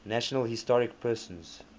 national historic persons